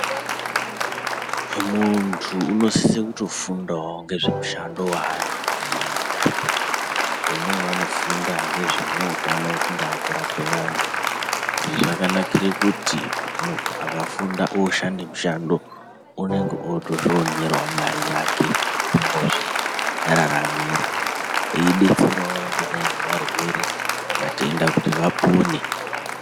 Muntu unosise kutofundawo ngezvemushando waanenge eida vamweni vanofunda ngezvemutano kungaa kurape vantu , zvakanakire kuti muntu akfunda oshande mushando unenge otozvionerawo mare yake yekuti unozviraramira eidetserawo zvakadai ngevarwere vatenda kuti vapone.